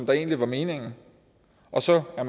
der egentlig var meningen og så er